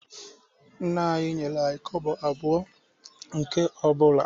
Nna anyị nyere anyị kobo abụọ nke ọ bụla